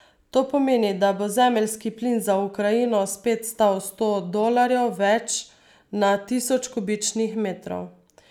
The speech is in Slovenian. To pomeni, da bo zemeljski plin za Ukrajino spet stal sto dolarjev več na tisoč kubičnih metrov.